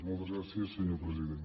moltes gràcies senyor president